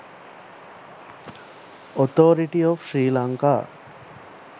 authority of sri lanka